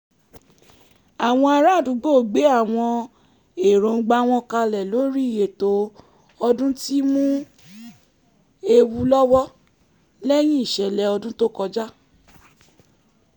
àwọn ará àdúgbò gbé àwọn erongba wọn kalẹ lórí ètò ọdún tí mú ewu lọ́wọ́ lẹ́yìn ìṣẹ̀lẹ̀ ọdún to kọjá